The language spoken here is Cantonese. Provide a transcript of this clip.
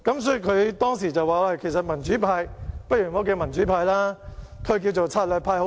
所以，他當時說："民主派不如不要叫'民主派'，叫'策略派'好了！